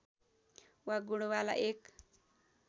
वा गुणवाला एक